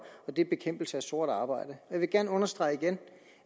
og det er bekæmpelse af sort arbejde jeg vil gerne understrege igen